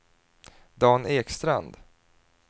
Dan Ekstrand